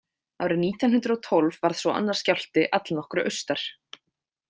Árið nítján hundrað og tólf varð svo annar skjálfti allnokkru austar.